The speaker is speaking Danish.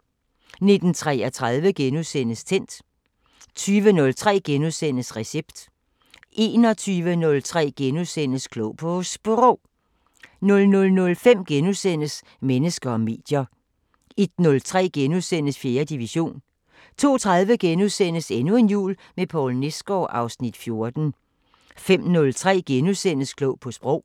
19:33: Tændt * 20:03: Recept * 21:03: Klog på Sprog * 00:05: Mennesker og medier * 01:03: 4. division * 02:30: Endnu en jul med Poul Nesgaard (Afs. 14)* 05:03: Klog på Sprog *